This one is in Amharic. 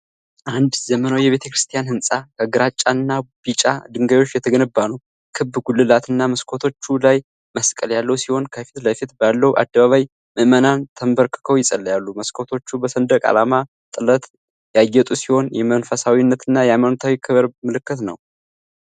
አንድ ዘመናዊ የቤተክርስቲያን ህንፃ ከግራጫና ቢጫ ድንጋዮች የተገነባ ነው። ክብ ጉልላትና መስኮቶቹ ላይ መስቀል ያለው ሲሆን፣ ከፊት ለፊት ባለው አደባባይ ምዕመናን ተንበርክከው ይጸልያሉ። መስኮቶቹ በሰንደቅ ዓላማ ጥለት ያጌጡ ሲሆኑ፣ የመንፈሳዊነትና የሃይማኖታዊ ክብር ምልክት ነው።